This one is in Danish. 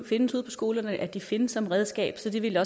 findes ude på skolerne at de findes som redskab så det ville